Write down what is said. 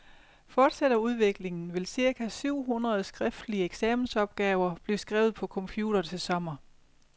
Fortsætter udviklingen, vil cirka syv hundrede skriftlige eksamensopgaver blive skrevet på computer til sommer.